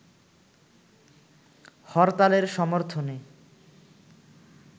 হরতালের সর্মথনে